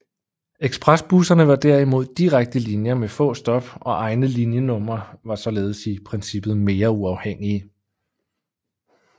Ekspresbusserne var derimod direkte linjer med få stop og egne linjenumre og var således i princippet mere uafhængige